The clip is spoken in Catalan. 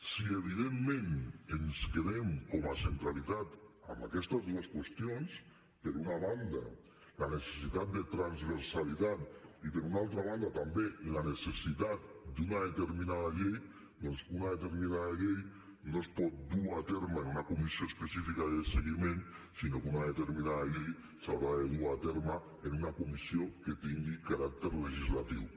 si evidentment ens quedem com a centralitat amb aquestes dues qüestions per una banda la necessitat de transversalitat i per una altra banda també la necessitat d’una determinada llei doncs una determinada llei no es pot dur a terme en una comissió específica de seguiment sinó que una determinada llei s’haurà de dur a terme en una comissió que tingui caràcter legislatiu